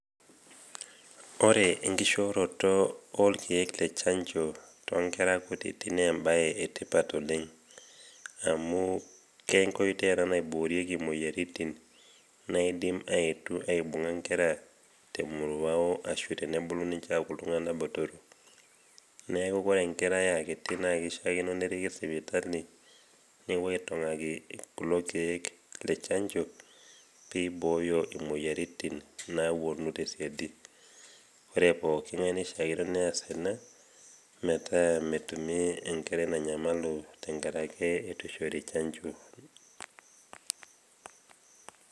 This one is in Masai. Ore enkishooroto olkeek le chanjo toonkera kutiti neembae etipat oleng' amu kenkoitoi ena naiboorieki muoyaritin naadim aetu aibung'a nkera temoruao ashu tenebulu ninche aaku iltung'ana botoro. Neaku kore enkerai aakiti naakeishaakino neriki sipitali newuoi aitong'aki kulo keek le chanjo peibooyo imoyaritin naawuonu tesiadi. Ore pooking'ai neishaakino neas ena metaa metumi enkerai nanyamalu tengarake eitu eishori chanjo.